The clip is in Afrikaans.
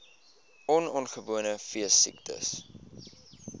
on ongewenste veesiektes